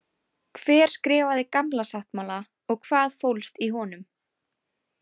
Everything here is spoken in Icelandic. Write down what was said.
Hver skrifaði Gamla sáttmála og hvað fólst í honum?